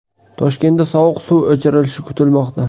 Toshkentda sovuq suv o‘chirilishi kutilmoqda.